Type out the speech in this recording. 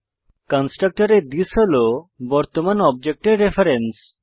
কন্সট্রকটরে থিস হল বর্তমান অবজেক্টের রেফারেন্স